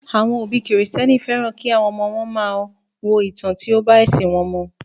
Àwọn òbí kìrìsìténì fẹ́ràn kí àwọn ọmọ wọn máa wo ìtàn tí ó bá ẹṣin wọn mu